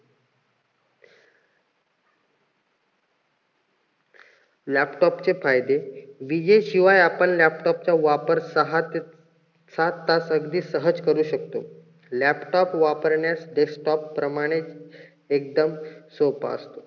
laptop चे फायदे विजेशिवाय आपण laptop चा वापर सहा ते सात तास अगदी सहज करू शकतो. laptop वापरण्यात desktop प्रमाणे एकदम सोपा असतो.